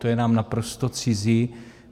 To je nám naprosto cizí.